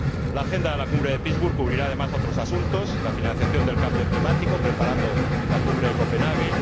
La agenda de la Cumbre de Pittsburg cubrirá además otros asuntos la financiación del cambio climático, preparando la Cumbre de Copenhague